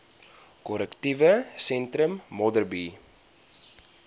korrektiewe sentrum modderbee